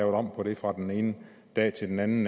om på det fra den ene dag til den anden